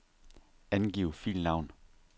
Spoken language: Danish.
Angiv filnavn.